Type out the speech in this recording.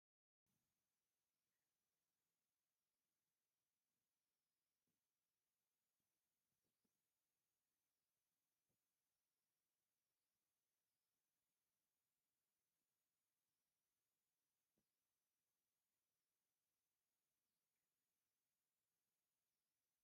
ሓደ ሰብ ኣብ ማንካ ቀይሕ ዱቄት ቺሊ (ስልሲ ወይ በርበረ ናብቲ ሕልበት) ይውስኽ ኣሎ። እቲ መሶብ ሕብራዊ ቅርጺ ኣለዎ። እቲ ምግቢ ድማ ኣዝዩ ጥዑም ይመስል። እዚ ምግቢ እዚ ክሳብ ክንደይ ቀመማዊ ክኸውን ይኽእል?